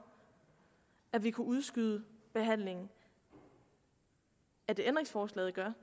at vi kunne udskyde behandlingen af det ændringsforslaget gør